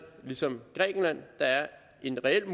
ligesom grækenland der er en reel